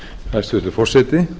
hæstvirtur forseti